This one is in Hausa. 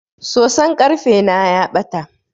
Soson karfe na ya bata.